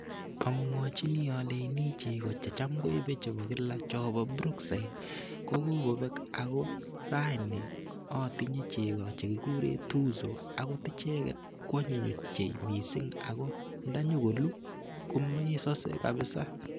Amwachini aleini cheko cham koibe chebo kila chobo brookside ko kokobek ako raini atinyei cheko che kigurei tuzo akot icheget kwonyiny ochei mising ako nda nyo kolu komesose kabisa.